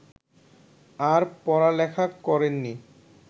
আর পড়ালেখা করেননি